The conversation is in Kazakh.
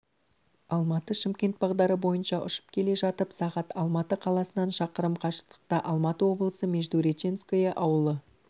алматы-шымкент бағдары бойынша ұшып келе жатып сағ алматы қаласынан шақырым қашықтықта алматы облысы междуреченское ауылы